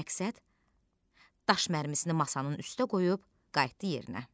Məqsəd daş mərmisini masanın üstə qoyub qayıtdı yerinə.